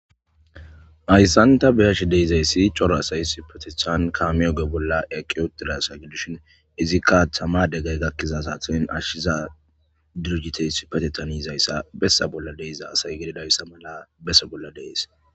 Hayssan ta beyashe de'izayssi coro asay sipatethan kami oge bolla eqqiodirasa giddushin izikka ahthama degay gakkiza saathen ashshiza durjitey sipatetaniizayssa bessa bolla deiza asay gididayssa mala bessa bolla dees